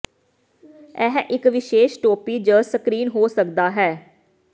ਇਹ ਇੱਕ ਵਿਸ਼ੇਸ਼ ਟੋਪੀ ਜ ਸਕਰੀਨ ਹੋ ਸਕਦਾ ਹੈ